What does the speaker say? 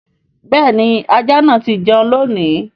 béèni ajá tí jẹ́un lóni.